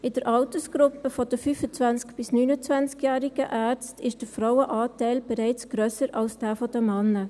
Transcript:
In der Altersgruppe der 25- bis 29-jährigen Ärzte ist der Frauenanteil bereits grösser als jener der Männer.